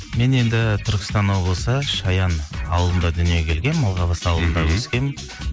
мен енді түркістан облысы шаян ауылында дүниеге келгенмін алғабас ауылында өскенмін